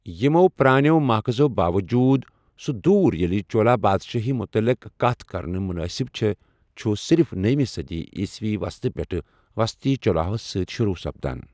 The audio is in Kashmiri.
یمو پرٛانٮ۪و ماخذو باوجوٗد، سہُ دور ییٚلہِ چولا پادشٲہی متعلق کتھ کرٕنہِ مُنٲسب چھےٚ، چھُ صرف نٔوِمہِ صٔدی عیٖسوی ہندِ وسطہٕ پٮ۪ٹھٕہٕ وسطی چولاہو سۭتۍ شروع سپدان ۔